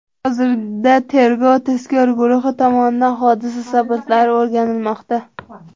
Hozirda tergov-tezkor guruhi tomonidan hodisa sabablari o‘rganilmoqda.